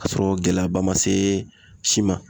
Ka sɔrɔ gɛlɛyaba ma se si ma.